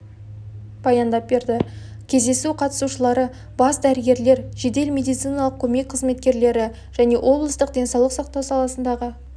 баяндап берді кездесу қатысушылары бас дәрігерлер жедел медициналық көмек қызметкерлері және облыстың денсаулық сақтау саласындағы